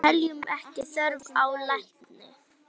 Teljum ekki þörf á lækni!